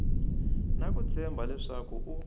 na ku tshemba leswaku u